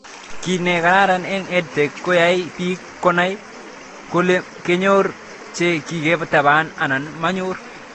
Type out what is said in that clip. Kiy ne karan eng'EdTech koyae pik konai kole kanyor che kiketaban anan manyor